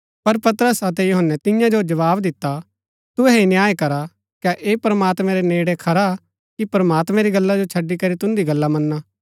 पर पतरस अतै यूहन्‍नै तियां जो जवाव दिता तुहै ही न्याय करा कै ऐह प्रमात्मैं रै नेड़ै खरा कि प्रमात्मैं री गल्ला जो छड़ी करी तुन्दी गल्ला मना